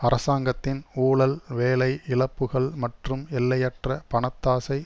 அரசாங்கத்தின் ஊழல் வேலை இழப்புகள் மற்றும் எல்லையற்ற பணத்தாசை